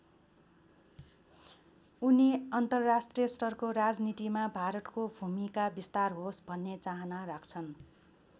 उनी अन्तर्राष्ट्रिय स्तरको राजनीतिमा भारतको भूमिका विस्तार होस् भन्ने चाहना राख्छन्।